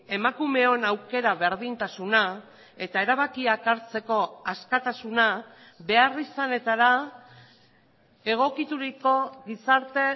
emakumeon aukera berdintasuna eta erabakiak hartzeko askatasuna beharrizanetara egokituriko gizarte